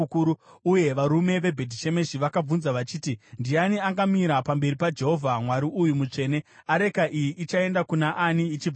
uye varume veBhetishemeshi vakabvunza vachiti, “Ndiani angamira pamberi paJehovha, Mwari uyu mutsvene? Areka iyi ichaenda kuna ani ichibva pano?”